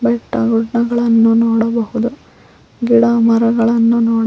ಬೆಟ್ಟ ಗುಡ್ಡಗಳನ್ನು ನೋಡಬಹುದು ಗಿಡ ಮರಗಳನ್ನು ನೋಡ--